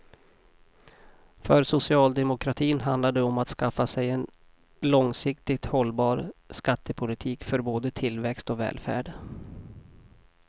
För socialdemokratin handlar det om att skaffa sig en långsiktigt hållbar skattepolitik för både tillväxt och välfärd.